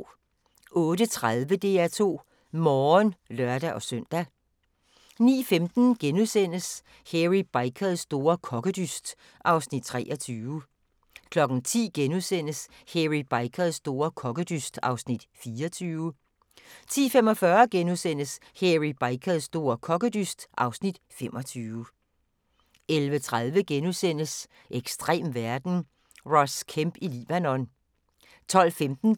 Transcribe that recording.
08:30: DR2 Morgen (lør-søn) 09:15: Hairy Bikers store kokkedyst (Afs. 23)* 10:00: Hairy Bikers store kokkedyst (Afs. 24)* 10:45: Hairy Bikers store kokkedyst (Afs. 25)* 11:30: Ekstrem verden – Ross Kemp i Libanon * 12:15: